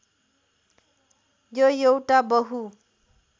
यो एउटा बहु